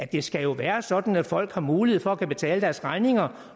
det skal jo være sådan at folk har mulighed for at kunne betale deres regninger